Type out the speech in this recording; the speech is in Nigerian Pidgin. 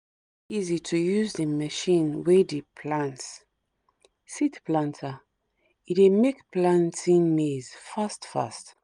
easy to use the machine wey di plant (seed planter ) e dey make planting maize fast fast